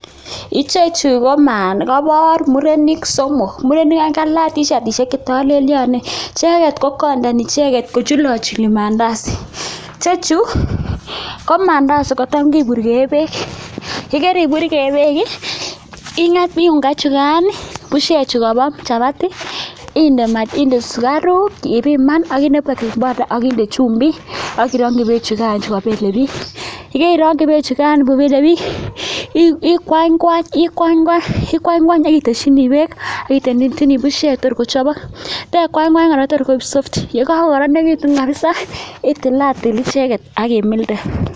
Ichechu ko kobor murenik somok, murenik oeng ko kalach tishatishek che tolelyonen. Icheget ko kondoni icheget kochulochuli maandazi. Ichechu ko maandazi kotam kiburge beek, ye keriburge beek ing'et mi unga ichugan bushek chukobo chapati inde sugaruk ibiman ak inde baking powder ak inde chumbik ak irongi beechugan chu kobelebiik. Ye keirongi beechugan ko belebiik ikwanykwany ikwany kwany ak itesyini beek ak iteshini bushek tor kochobok. Te kwanykwany kora tor koik soft. Ye kagokoronegitun kabisa itilatil icheget ak imilde.